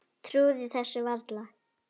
Trúði þessu varla.